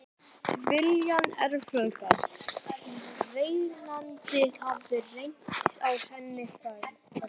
Tilviljun, erfðagalli, reyndist hafa reyrt á henni fæturna.